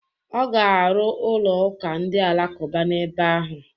Ọ ga-arụ ụlọ ụka ndị Alakụba n'ebe ahụ.